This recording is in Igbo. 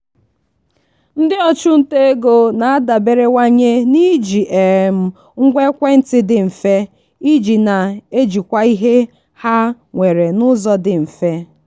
ndị ọchụnta ego na-adaberewanye na-iji um ngwa ekwentị dị mfe iji na-ejikwa ihe ha nwere n'ụzọ dị mfe.